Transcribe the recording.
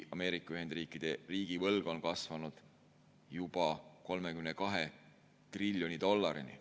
Ameerika Ühendriikide riigivõlg on kasvanud juba 32 triljoni dollarini.